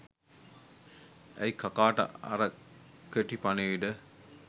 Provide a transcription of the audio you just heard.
ඇයි කකාට අර කෙටි පණිවිඩ